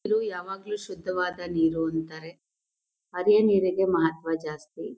ದ್ರು ಯಾವಾಗ್ಲೂ ಶುದ್ಧವಾದ ನೀರು ಅಂತಾರೆ ಅದೇ ನೀರಿಗೆ ಮಹತ್ವ ಜಾಸ್ತಿ.